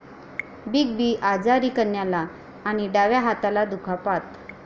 big B आजारी, कण्याला आणि डाव्या हाताला दुखापत